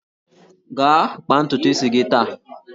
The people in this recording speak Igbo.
Gaa kpaa ntutu isi gị taa!